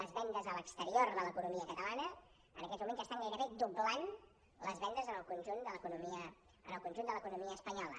les vendes a l’exterior de l’economia catalana en aquests moments ja estan gairebé doblant les vendes en el conjunt de l’economia espanyola